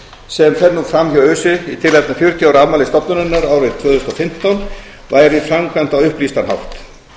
sem fer nú fram hjá öse í tilefni fjörutíu ára afmælis stofnunarinnar árið tvö þúsund og fimmtán væri framkvæmt á upplýstan hátt